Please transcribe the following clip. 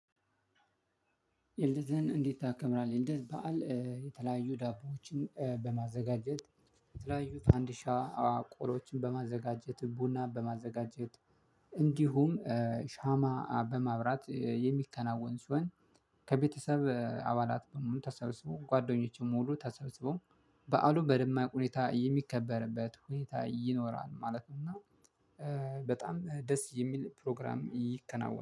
የልደትህን እንዴት ታከብራለህ? የልደት በዓል የተለያዩ ዳቦዎችን በማዘጋጀት የተለያዩ ፈንድሻ ቆሎዎችን በማዘጋጀት ቡና በማዘጋጀት እንዲሁም ሻማ በማብራት የሚከናወን ሲሆን ከቤተሰብ አባላት በሙሉ ተሰብስበው ጓደኞቼም ሙሉ ተሰብስበው በዓሉ በደማቅ ሁኔታ የሚከበርበት ሁኔታ ይኖራል ማለት ነው። እና በጣም ደስ የሚል ፕሮግራም ይከናወናል